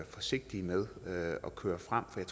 forsigtige med at køre frem med